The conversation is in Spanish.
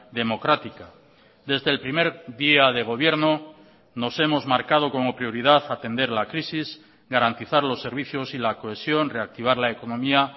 democrática desde el primer día de gobierno nos hemos marcado como prioridad atender la crisis garantizar los servicios y la cohesión reactivar la economía